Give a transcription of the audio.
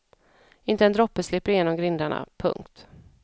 Inte en droppe slipper genom grindarna. punkt